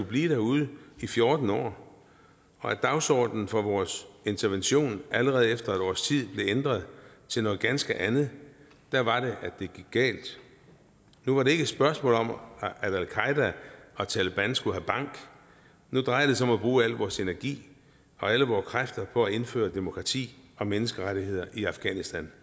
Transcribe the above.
blive derude i fjorten år og da dagsordenen for vores intervention allerede efter et års tid blev ændret til noget ganske andet var det at det gik galt nu var det ikke et spørgsmål om at al qaeda eller taleban skulle have bank nu drejede det sig om at bruge al vores energi og alle vores kræfter på at indføre demokrati og menneskerettigheder i afghanistan